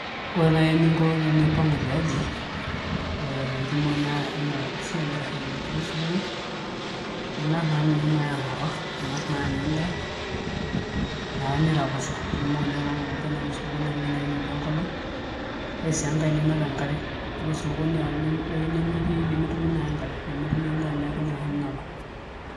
Ore naaji eningo tenimpangu tiaji alo osupuko ningas Anya enda ninap enkare amu ebaiki nemetii osupuko.